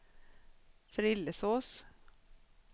Frillesås